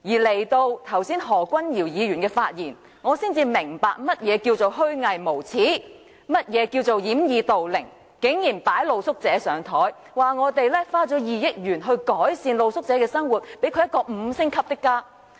直到何君堯議員剛才發言，我才明白何謂虛偽無耻，何謂掩耳盜鈴，他竟然將露宿者"擺上檯"，說政府花了2億元改善露宿者的生活，讓他們有五星級的家。